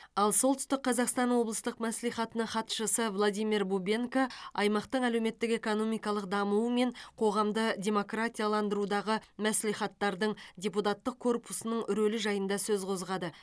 ал солтүстік қазақстан облыстық мәслихатының хатшысы владимир бубенко аймақтың әлеуметтік экономикалық дамуы мен қоғамды демократияландырудағы мәслихаттардың депутаттық корпусының рөлі жайында сөз қозғады